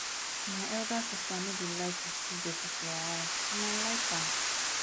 my elder sister no dey like to see dirty for her house and i like am